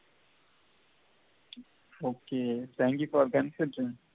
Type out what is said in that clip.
ok thank you for consent to me